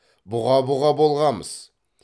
бұға бұға болғамыз